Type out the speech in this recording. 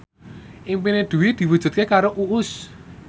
impine Dwi diwujudke karo Uus